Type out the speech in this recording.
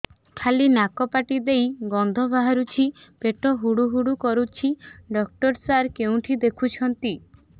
ଖାଲି ନାକ ପାଟି ଦେଇ ଗଂଧ ବାହାରୁଛି ପେଟ ହୁଡ଼ୁ ହୁଡ଼ୁ କରୁଛି ଡକ୍ଟର ସାର କେଉଁଠି ଦେଖୁଛନ୍ତ